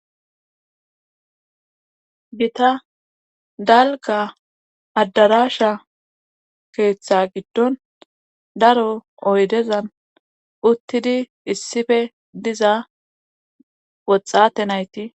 gita dalga addarasha keeththa giddon daro oydezan uttidi issife diza woxxate nayti